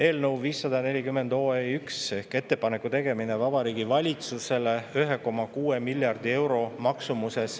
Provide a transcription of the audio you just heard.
Eelnõu 540 ehk "Ettepaneku tegemine Vabariigi Valitsusele 1,6 miljardi euro maksumuses …